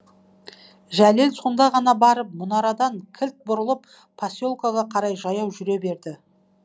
жәлел сонда ғана барып мұнарадан кілт бұрылып поселкеге қарай жаяу жүре берді